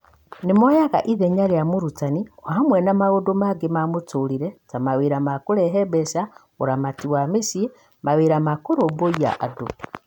Nĩ moyaga ithenya rĩa mũrutani o hamwe na maũndũ mangĩ ma mũtũrire (ta, mawĩra ma kũrehe mbeca, ũramati wa mũciĩ, mawĩra ma kũrũmbũiya andũ).